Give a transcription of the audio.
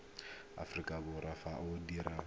aforika borwa fa o dirwa